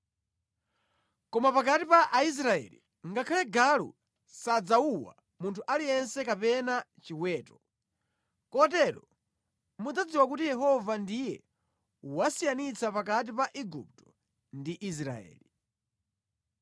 Koma pakati pa Aisraeli, ngakhale galu sadzawuwa munthu aliyense kapena chiweto!” Kotero mudzadziwa kuti Yehova ndiye wasiyanitsa pakati pa Igupto ndi Israeli.